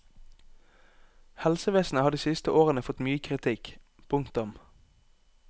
Helsevesenet har de siste årene fått mye kritikk. punktum